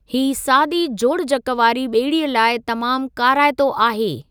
ही सादी जोड़जक वारी ॿेड़ीअ लाइ तमामु काराइतो आहे।